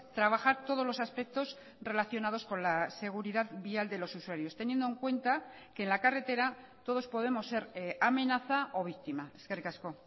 trabajar todos los aspectos relacionados con la seguridad vial de los usuarios teniendo en cuenta que en la carretera todos podemos ser amenaza o víctima eskerrik asko